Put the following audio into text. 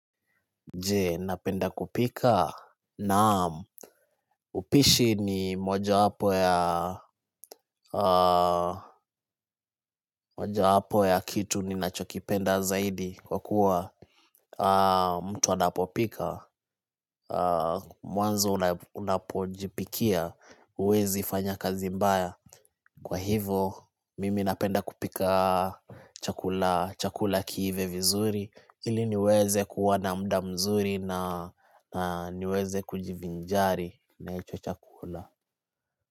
Je napenda kupika naam upishi ni mojapo ya kitu ninachokipenda zaidi kwa kuwa mtu anapopika Mwanzo unapo jipikia uwezi fanya kazi mbaya Kwa hivo mimi napenda kupika chakula kiive vizuri Ili niweze kuwa na muda mzuri na niweze kujivinjari na hicho chakula.